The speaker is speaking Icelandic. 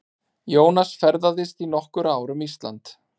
Jónas ferðaðist í nokkur ár um Ísland.